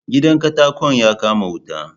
Gidan katakon ya kama wuta